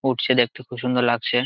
উঠছে দেখতে খুব সুন্দর লাগছে।